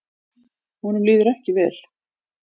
Honum líður ekki vel.